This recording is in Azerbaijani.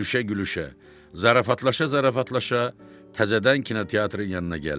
Gülüşə-gülüşə, zarafatlaşa-zarafatlaşa təzədən kinoteatrın yanına gəldik.